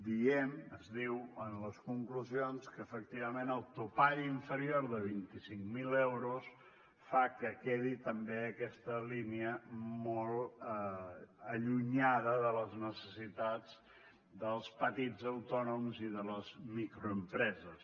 diem es diu en les conclusions que efectivament el topall inferior de vint cinc mil euros fa que quedi també aquesta línia molt allunyada de les necessitats dels petits autònoms i de les microempreses